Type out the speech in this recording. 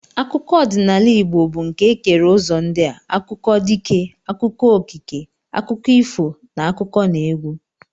Akụkọ ọdịnala Igbo bụ nke e kere ụzọ ndị a: akụkọ dike, akụkọ okike, akụkọ ifo na n'akụkọneegwu